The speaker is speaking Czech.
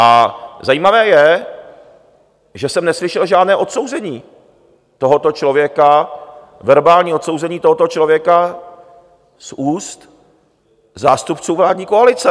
A zajímavé je, že jsem neslyšel žádné odsouzení tohoto člověka, verbální odsouzení tohoto člověka z úst zástupců vládní koalice.